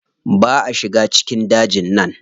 Ba a shiga cikin dajin nan.